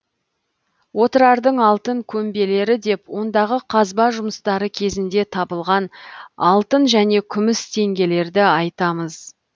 отырардың алтын көмбелері деп ондағы қазба жұмыстары кезінде табылған алтын және күміс теңгелерді айтамыз